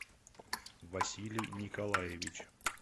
василий николаевич